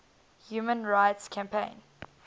human rights campaign